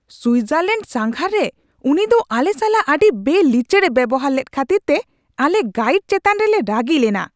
ᱥᱩᱭᱡᱟᱨᱞᱮᱹᱱᱰ ᱥᱟᱸᱜᱷᱟᱨ ᱨᱮ ᱩᱱᱤᱫᱚ ᱟᱞᱮ ᱥᱟᱞᱟᱜ ᱟᱹᱰᱤ ᱵᱮᱼᱲᱤᱪᱟᱹᱲ ᱮ ᱵᱮᱣᱦᱟᱨ ᱞᱮᱫ ᱠᱷᱟᱹᱛᱤᱨᱛᱮ ᱟᱞᱮ ᱜᱟᱹᱭᱤᱰ ᱪᱮᱛᱟᱱ ᱨᱮᱞᱮ ᱨᱟᱹᱜᱤ ᱞᱮᱱᱟ ᱾